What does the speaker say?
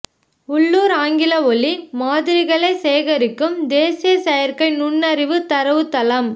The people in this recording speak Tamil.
உள்ளூர் ஆங்கில ஒலி மாதிரிகளைச் சேகரிக்கும் தேசிய செயற்கை நுண்ணறிவு தரவுத்தளம்